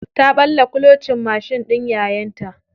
Ta ɓalla kulocin mashin ɗin yayanta.